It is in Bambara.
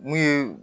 Mun ye